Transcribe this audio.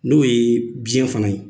N'o ye biɲɛ fana ye.